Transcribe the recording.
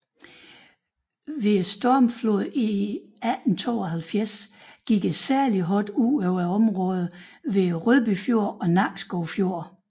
Ved stormfloden i 1872 gik det særligt hårdt ud over områderne omkring Rødby Fjord og Nakskov Fjord